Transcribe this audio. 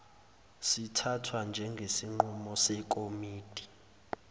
sithathwa njengesinqumo sekomidi